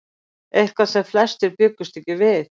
Eitthvað sem flestir bjuggust ekki við